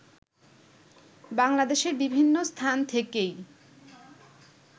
বাংলাদেশের বিভিন্ন স্থান থেকেই